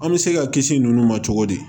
An bɛ se ka kisi ninnu ma cogo di